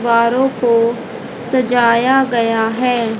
दीवारों को सजाया गया है।